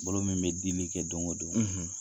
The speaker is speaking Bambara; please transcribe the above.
Bolo min bɛ dili kɛ don o don,